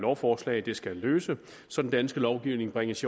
lovforslag skal løse så den danske lovgivning bringes